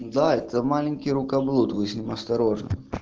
да это маленький рукоблуд вы с ним осторожно